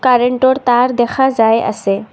কাৰেণ্টৰ তাঁৰ দেখা যায় আছে।